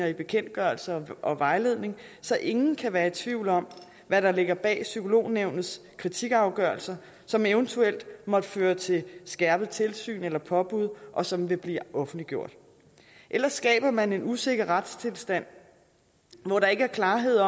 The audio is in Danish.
i bekendtgørelsen og vejledningen så ingen kan være i tvivl om hvad der ligger bag psykolognævnets kritikafgørelser som eventuelt måtte føre til skærpet tilsyn eller påbud og som vil blive offentliggjort ellers skaber man en usikker retstilstand hvor der ikke er klarhed